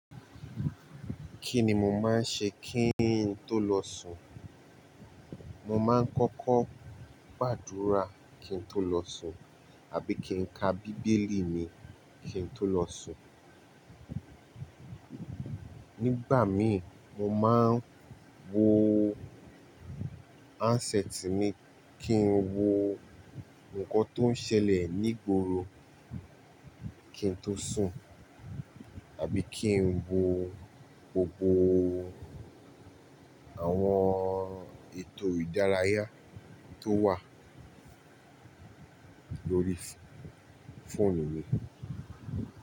Kí ni mo máa ń ṣe kí n tó lọ sùn? Mo máa ń kọ́kọ́ gbàdúrà kín tó lọ sùn tàbí kí n ka bíbélì mi kín tó lọ sùn. Nígbà míran mo máa ń wo handset mi kí n wo nǹkan tó ń ṣẹlẹ̀ ní igboro kí n tó sùn àbí kí n wo gbogbo àwọn ètò ìdárayá tó wà lórí fóònù mi.